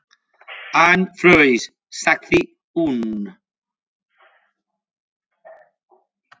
Hann fraus, sagði hún.